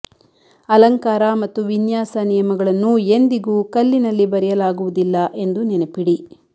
ಅಲಂಕಾರ ಮತ್ತು ವಿನ್ಯಾಸ ನಿಯಮಗಳನ್ನು ಎಂದಿಗೂ ಕಲ್ಲಿನಲ್ಲಿ ಬರೆಯಲಾಗುವುದಿಲ್ಲ ಎಂದು ನೆನಪಿಡಿ